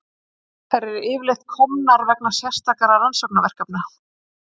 Þær eru yfirleitt til komnar vegna sérstakra rannsóknaverkefna.